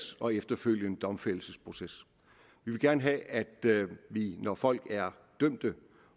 og efterfølgende domfældelsesproces vi vil gerne have at vi når folk er dømt